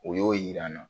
O y'o yir'an na